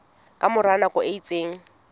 ka mora nako e itseng